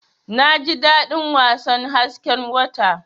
Naji dadin wasan hasken wata.